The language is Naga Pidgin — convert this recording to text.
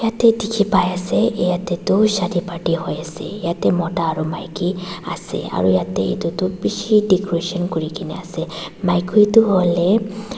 te dikhipaiase yatae toh shadi party hoiase yatae mota aro maki ase aru yate edu tu bishi decoration kurikaena ase maki tu hoilae.